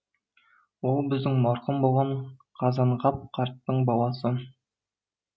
ол біздің марқұм болған қазанғап қарттың баласы